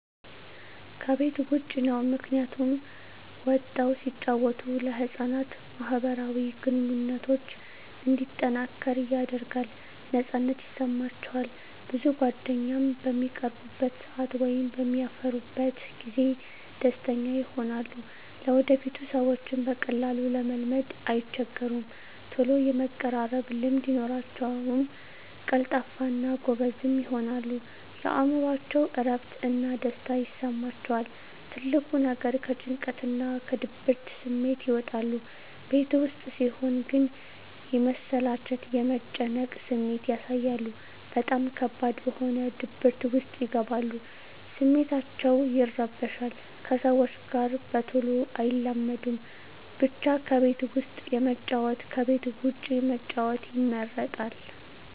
ከቤት ዉጭ ነዉ ምክንያቱም ወጠዉ ሲጫወቱ ለህፃናት ማህበራዊ ግንኙነቶች እንዲጠናከር ያደርጋል ነፃነት ይሰማቸዋል ብዙ ጓደኛም በሚቀርቡበት ሰአት ወይም በሚያፈሩበት ጊዜ ደስተኛ ይሆናሉ ለወደፊቱ ሰዎችን በቀላሉ ለመልመድ አይቸገሩም ተሎ የመቀራረብ ልምድ ይኖራቸዉል ቀልጣፋ እና ጎበዝም ይሆናሉ የእምሮአቸዉ እረፍት እና ደስታ ይሰማቸዋል ትልቁ ነገር ከጭንቀትና ከድብርት ስሜት ይወጣሉ ቤት ዉስጥ ሲሆን ግን የመሰላቸት የመጨነቅ ስሜት ያሳያሉ በጣም ከባድ በሆነ ድብርት ዉስጥ ይገባሉ ስሜታቸዉ ይረበሻል ከሰዎች ጋር በተሎ አይላመዱም ብቻ ከቤት ዉስጥ ከመጫወት ከቤት ዉጭ መጫወት ይመረጣል